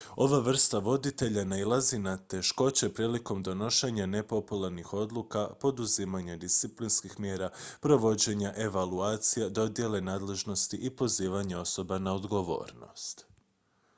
ova vrsta voditelja nailazi na teškoće prilikom donošenja nepopularnih odluka poduzimanja disciplinskih mjera provođenja evaluacija dodjele nadležnosti i pozivanja osoba na odgovornost